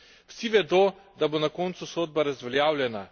Vsi vedo, da bo na koncu sodba razveljavljena.